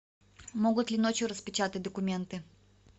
могут ли ночью распечатать документы